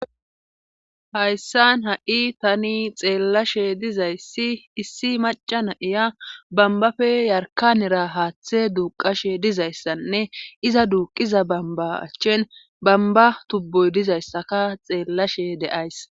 Hayssan ha7i tani xeellashe dizayssi issi macca na7iya bambafe yarkanera haaththe duuqashe dizayssanne iza duuqiza bamba achchin bamba tubboy dizayssaka xeellashe de7ays.